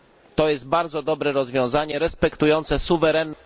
To jest bardzo dobre rozwiązanie respektujące suwerenność.